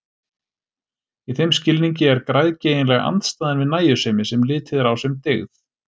Í þeim skilningi er græðgi eiginlega andstæðan við nægjusemi, sem litið er á sem dygð.